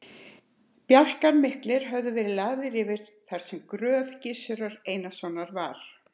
Bjálkar miklir höfðu verið lagðir yfir þar sem gröf Gizurar Einarssonar var.